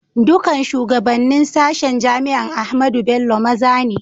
Dukan shugabanen sashen jami'an Ahmadu Bello maza ne.